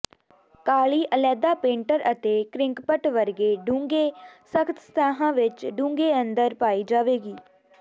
ਕਾਲੀ ਅਲੈਦਾ ਪੇਂਟਰ ਅਤੇ ਕੰਕ੍ਰਿਪਟ ਵਰਗੇ ਡੂੰਘੇ ਸਖ਼ਤ ਸਤਹਾਂ ਵਿੱਚ ਡੂੰਘੇ ਅੰਦਰ ਪਾਈ ਜਾਵੇਗੀ